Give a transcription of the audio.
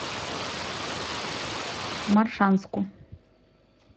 моршанску